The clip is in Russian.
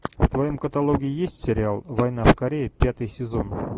в твоем каталоге есть сериал война в корее пятый сезон